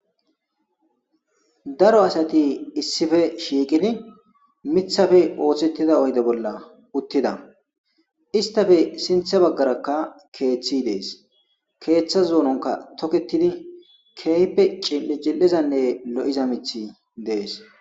daro asati issife shiiqidi mithafe ooththettida oyde bolla uttida istafe sinthe baggarakka keeththi dees keeththa zuunonka toketidi keype cil7e ji7ezanne lo7iza mithi dees